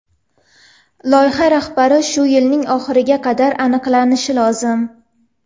Loyiha rahbari shu yilning oxiriga qadar aniqlanishi lozim.